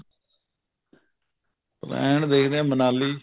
plane ਦੇਖਦੇ ਹਾਂ ਮਨਾਲੀ